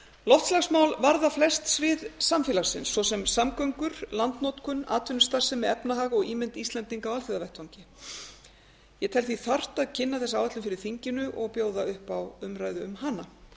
loftslagsmál varða flest svið samfélagsins svo sem samgöngur landnotkun atvinnustarfsemi efnahag og ímynd íslendinga á alþjóðavettvangi ég tel því þarft að kynna þessa áætlun fyrir þinginu og bjóða upp á umræðu um hana